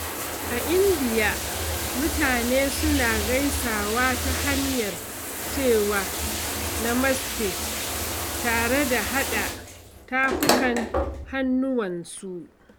A Indiya, mutane suna gaisawa ta hanyar cewa "Namaste" tare da haɗa tafukan hannuwansu.